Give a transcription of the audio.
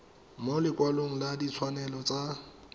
mo lekwalong la ditshwanelo tsa